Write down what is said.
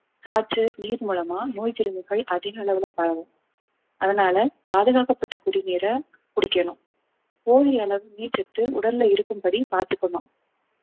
காற்று நீர் மூலமா நோய் கிருமிகள் அதிக அளவுல பரவும் அதனால பாதுகாக்கப்பட்ட குடிநீரை குடிக்கணும் போதிய அளவு நீர்ச்சத்து உடல்ல இருக்கும்படி பார்த்துக்கணும்